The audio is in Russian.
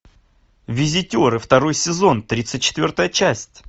визитеры второй сезон тридцать четвертая часть